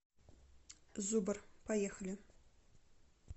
зубр поехали